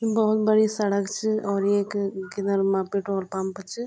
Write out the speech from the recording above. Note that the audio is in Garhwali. भोत बड़ी सड़क च और येक किनर मा पेट्रोल पंप च।